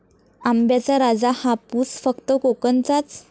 आंब्याचा राजा हापूस फक्त कोकणचाच!